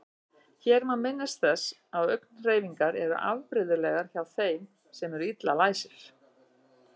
Hér má minnast þess að augnhreyfingar eru afbrigðilegar hjá þeim sem eru illa læsir.